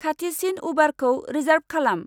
खाथिसिन उबारखौ रिसार्ब खालाम।